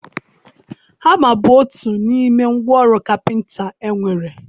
Hama bụ otu n'ime ngwa ọrụ kapịnta e nwere.